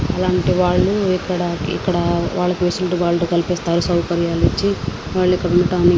అలాంటివాళ్ళు ఇక్కడ వాళ్ళ ఫెసిలిటీ వాళ్ళు కల్పిస్తారు. సౌకర్యాలు ఇచ్చి మళ్ళీ ఇక్కడ ఉండటానికి --